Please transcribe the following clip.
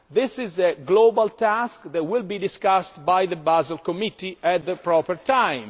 now. This is a global task that will be discussed by the Basel Committee at the proper